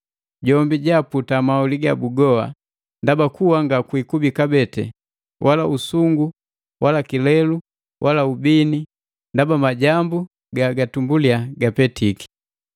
Jombi jiiputa maholi gabu goa, ndaba kuwa ngakikubi kabee, wala usungu wala kilelu wala ubini, ndaba majambu ga tumbuliya gapetiki.”